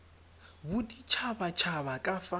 bodit habat haba ka fa